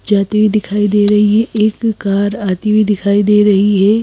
जाती हुई दिखाई दे रही है एक कार आती हुई दिखाई दे रही है।